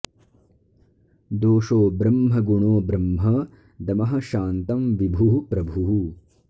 दोषो ब्रह्म गुणो ब्रह्म दमः शान्तं विभुः प्रभुः